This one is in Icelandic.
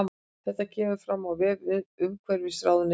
Þetta kemur fram á vef umhverfisráðuneytisins